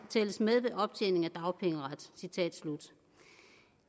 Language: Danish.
tælles med ved optjening af dagpengeret